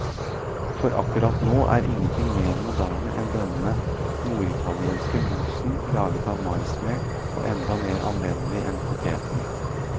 For akkurat nå er ingenting mer moderne enn denne norditalienske mosen, laget av maismel og enda mer anvendelig enn poteten.